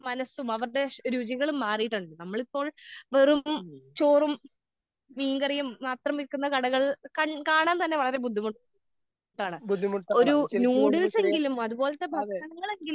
മനസ്സും അവരുടെ രുചികളും മാറിയത്. നമ്മളിപ്പോൾ വെറും ചോറും മീൻകറിയും മാത്രം വിൽക്കുന്ന കടകൾകണ്ട് കാണാൻ തന്നെ വളരെ ബുദ്ധിമുട്ടാണ്. ഒരു ന്യൂഡിൽസെങ്കിലും അതുപോലത്തെ ഭക്ഷണങ്ങളെങ്കിലും